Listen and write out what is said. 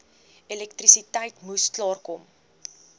elektrisiteit moes klaarkom